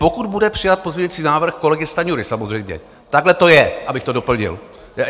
Pokud bude přijat pozměňující návrh kolegy Stanjury samozřejmě, takhle to je, abych to doplnil.